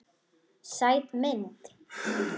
Sæt mynd.